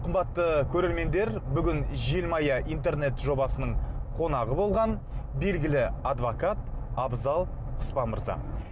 қымбатты көрермендер бүгін желмая интернет жобасының қонағы болған белгілі адвокат абзал құспан мырза